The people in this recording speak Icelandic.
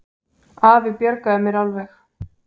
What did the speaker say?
Afi bjargaði mér alveg.